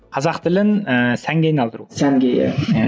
қазақ тілін ііі сәнге айналдыру сәнге иә